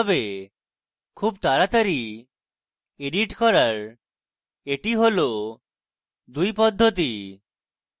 খুব তাড়াতাড়ি edit করার এটি হল দুই পদ্ধতি